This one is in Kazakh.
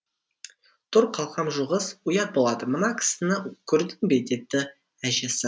тұр қалқам жуғыз ұят болады мына кісіні көрдің бе деді әжесі